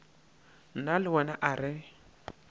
nna le wena a re